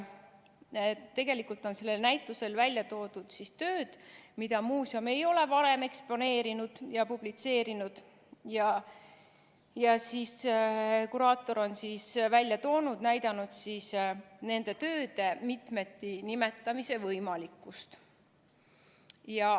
Tegelikult on sellel näitusel välja toodud tööd, mida muuseum ei ole varem eksponeerinud ja publitseerinud, ning kuraator on välja toonud ja näidanud nende tööde mitmeti nimetamise võimalikkust.